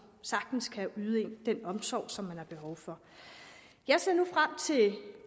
sagtens kan yde den omsorg som har behov for jeg ser nu frem til